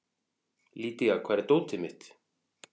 Lydia, hvar er dótið mitt?